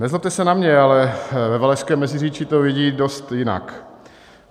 Nezlobte se na mě, ale ve Valašském Meziříčí to vidí dost jinak.